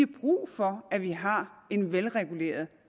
brug for at vi har en velreguleret